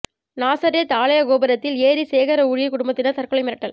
நாசரேத் ஆலய கோபுரத்தில் ஏறி சேகர ஊழியர் குடும்பத்தினர் தற்கொலை மிரட்டல்